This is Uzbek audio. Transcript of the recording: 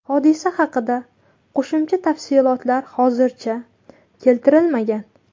Hodisa haqida qo‘shimcha tafsilotlar hozircha keltirilmagan.